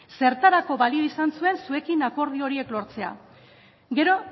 zertarako balio izan zuen zuekin akordio horiek lortzea gero